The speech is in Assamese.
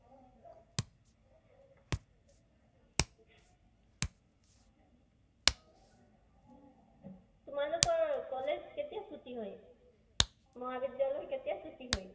তোমালোকৰ college কেতিয়া ছুটী হয়? মহাবিদ্য়ালয় কাতিয়া ছুটী হয়?